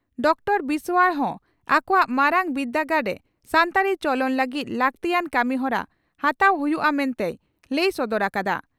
Doctor Biswar ᱦᱚᱸ ᱟᱠᱚᱣᱟᱜ ᱢᱟᱨᱟᱝ ᱵᱤᱨᱫᱟᱹᱜᱟᱲ ᱨᱮ ᱥᱟᱱᱛᱟᱲᱤ ᱪᱚᱞᱚᱱ ᱞᱟᱹᱜᱤᱫ ᱞᱟᱹᱜᱛᱤᱭᱟᱱ ᱠᱟᱹᱢᱤᱦᱚᱨᱟ ᱦᱟᱛᱟᱣ ᱦᱩᱭᱩᱜᱼᱟ ᱢᱮᱱᱛᱮᱭ ᱞᱟᱹᱭ ᱥᱚᱫᱚᱨ ᱟᱠᱟᱫᱼᱟ ᱾